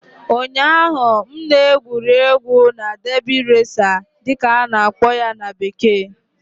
ụnyaahụ, m na-egwuri egwu na "derby racer" dị ka a na-akpọ ya na bekee